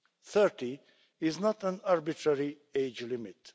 Thirty is not an arbitrary age limit